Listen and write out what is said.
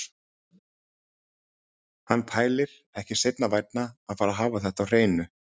Hann pælir, ekki seinna vænna að fara að hafa þetta á hreinu.